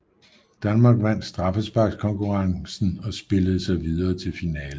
Danmark vandt straffesparkskonkurrencen og spillede sig videre til finalen